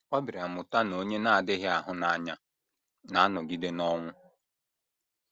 Ọ bịara mụta na “ onye na - adịghị ahụ n’anya na - anọgide n’ọnwụ.